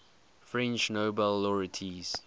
french nobel laureates